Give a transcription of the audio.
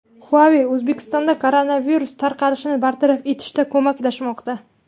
Huawei O‘zbekistonga koronavirus tarqalishini bartaraf etishda ko‘maklashmoqda.